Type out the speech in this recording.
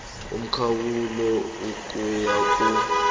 umkhawulo ukuya kur